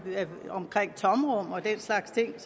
slags ting